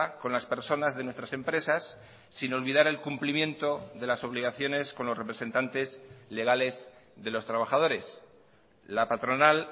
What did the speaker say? con las personas de nuestras empresas sin olvidar el cumplimiento de las obligaciones con los representantes legales de los trabajadores la patronal